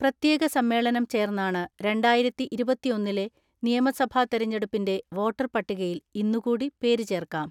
പ്രത്യേക സമ്മേളനം ചേർന്നാണ് രണ്ടായിരത്തിഇരുപത്തിഒന്നിലെ നിയമസഭാ തിരഞ്ഞെടുപ്പിന്റെ വോട്ടർ പട്ടികയിൽ ഇന്നുകൂടി പേര് ചേർക്കാം.